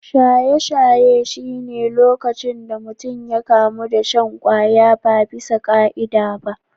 Shaye-shaye shi ne lokacin da mutum ya kamu da shan kwaya ba bisa ka’ida ba.